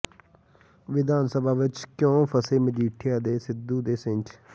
ਵਿਧਾਨ ਸਭਾ ਵਿੱਚ ਕਿਉਂ ਫਸੇ ਮਜੀਠੀਆ ਤੇ ਸਿੱਧੂ ਦੇ ਸਿੰਙ